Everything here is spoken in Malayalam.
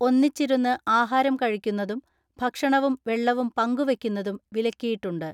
ഒന്നിച്ചിരുന്ന് ആഹാരം കഴിക്കുന്നതും ഭക്ഷണവും വെള്ളവും പങ്കുവെയ്ക്കുന്നതും വിലക്കിയിട്ടുണ്ട്.